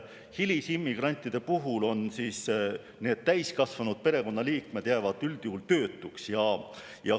Hilisimmigrantide puhul on need täiskasvanud perekonnaliikmed, kes jäävad üldjuhul töötuks.